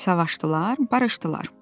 Savaştılar, barışdılar.